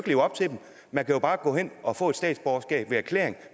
leve op til dem man kan bare gå hen og få et statsborgerskab ved erklæring